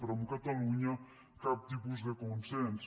però amb catalunya cap tipus de consens